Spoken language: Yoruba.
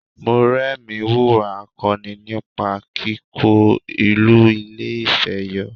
Mọ́remí wùwà akọni nípa kíkó ìlú Ilé-Ifẹ̀ yọ